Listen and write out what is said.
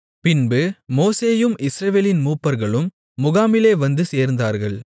பின்பு மோசேயும் இஸ்ரவேலின் மூப்பர்களும் முகாமிலே வந்து சேர்ந்தார்கள்